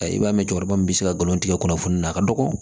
I b'a mɛ cɛkɔrɔba min bɛ se ka nkalon tigɛ kunnafoni na a ka dɔgɔ